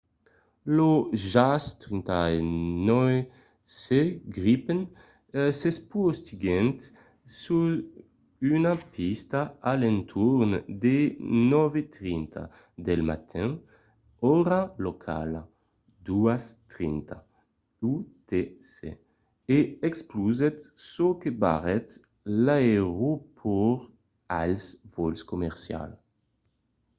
lo jas 39c gripen s'espotiguèt sus una pista a l'entorn de 9:30 del matin ora locala 02:30 utc e explosèt çò que barrèt l'aeropòrt als vòls comercials